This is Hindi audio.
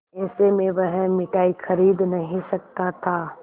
ऐसे में वह मिठाई खरीद नहीं सकता था